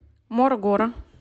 морогоро